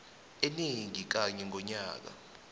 enengi kanye ngonyaka